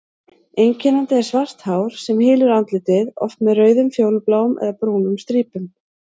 Einkennandi er svart hár sem hylur andlitið, oft með rauðum, fjólubláum eða brúnum strípum.